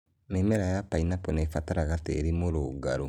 Mĩmera ya pineappre nĩ ĩbataraga tĩĩri mũrũngarũ.